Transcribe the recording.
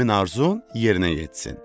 həmin arzun yerinə yetsin.